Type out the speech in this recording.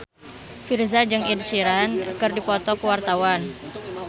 Virzha jeung Ed Sheeran keur dipoto ku wartawan